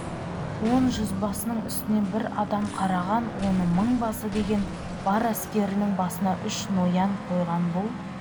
он жүзбасының үстінен бір адам қараған оны мыңбасы деген бар әскерінің басына үш ноян қойған бұл